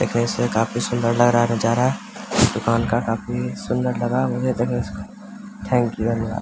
देखने से काफी सुंदर लग रहा है नजारा इस दुकान का काफी सुंदर लगा थैंक्यू धन्यवाद।